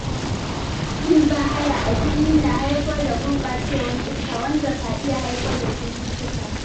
Yin bahaya a fili na haifar da gurɓacewar iska, wanda ka iya haifar da cututtuka.